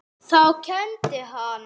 Þá kenndi hann.